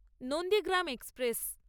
Nandigram express